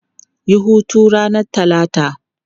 Yi hutu ranar Talata!